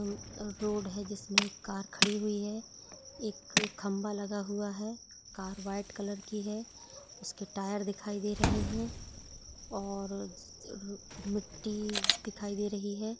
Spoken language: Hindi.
अह रोड है जिसमे एक कार खड़ी हुई है। एक खम्बा लगा हुआ है। कार व्हाइट कलर की है। उसके टायर दिखाई दे रहे है और मी मिट्ठी दिखाई दे रही है।